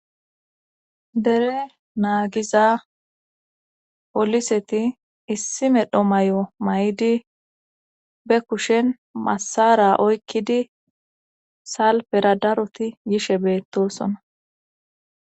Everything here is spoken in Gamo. Dere naagiza poliseti issi medho may7o may7di be kushen masara oykkidi salpera daroti yishe beettosona.